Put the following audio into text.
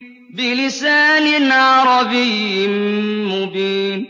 بِلِسَانٍ عَرَبِيٍّ مُّبِينٍ